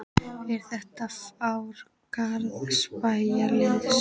Er þetta ár Garðabæjarliðsins?